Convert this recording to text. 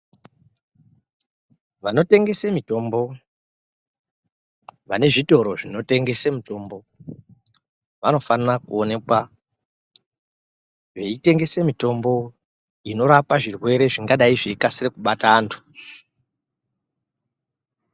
Vanotengese mitombo vanezvitoro zvinotengese mitombo vanofanira kuonekwa veitengese mitombo ingarapa zvirwere zvingadai zveikasire kubate antu.